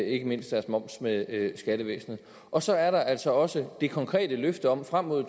ikke mindst deres moms med skattevæsenet og så er der altså også det konkrete løfte om frem mod